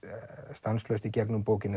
stanslaust í gegnum bókina